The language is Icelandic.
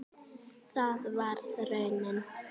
Það varð raunin.